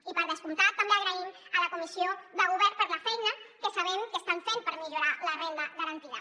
i per descomptat també agraïm a la comissió de govern la feina que sabem que estan fent per millorar la renda garantida